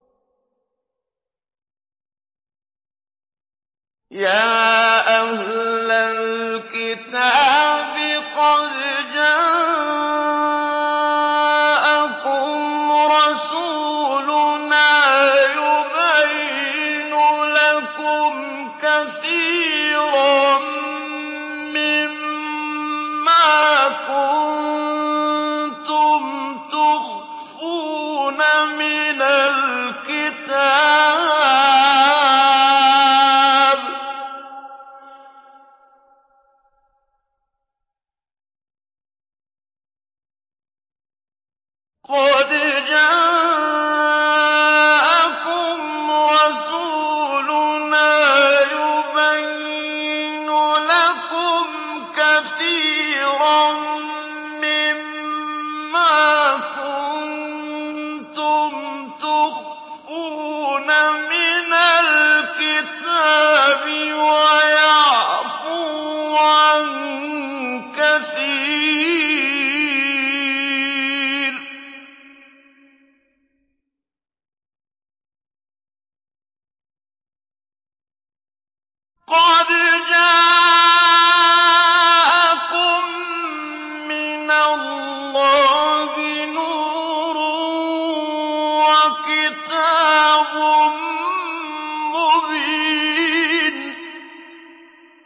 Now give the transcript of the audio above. يَا أَهْلَ الْكِتَابِ قَدْ جَاءَكُمْ رَسُولُنَا يُبَيِّنُ لَكُمْ كَثِيرًا مِّمَّا كُنتُمْ تُخْفُونَ مِنَ الْكِتَابِ وَيَعْفُو عَن كَثِيرٍ ۚ قَدْ جَاءَكُم مِّنَ اللَّهِ نُورٌ وَكِتَابٌ مُّبِينٌ